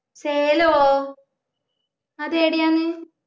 സേലോ അതേടെയാണ്